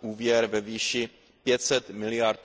úvěr ve výši 500 miliard